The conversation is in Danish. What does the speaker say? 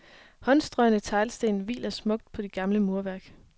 Håndstrøgne teglsten hviler smukt på det gamle murværk.